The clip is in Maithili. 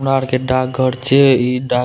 हमरा आर के डाक घर छीये इ डाक --